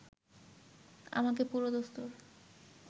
আমাকে পুরোদস্তুর